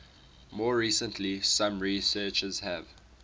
more recently some researchers have